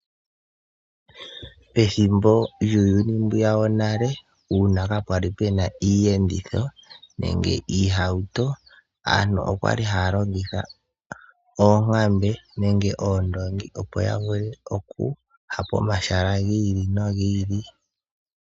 Pethimbo lyuuyuni mbwiya wonale sho kaa kwali ku na iiyenditho nenge iihauto, aantu oya li haya longitha oonkambe nenge oondoongi opo ya vule okuya pomahala gi ili nogi ili.